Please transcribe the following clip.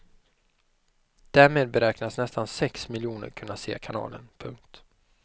Därmed beräknas nästan sex miljoner kunna se kanalen. punkt